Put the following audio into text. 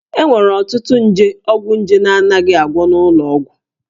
E nwere ọtụtụ nje ọgwụnje na-anaghị agwọ n'ụlọ ọgwụ